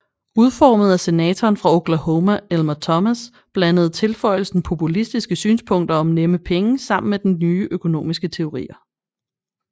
Udformet af senatoren fra Oklahoma Elmer Thomas blandede tilføjelsen populistiske synspunkter om nemme penge sammen med nye økonomiske teorier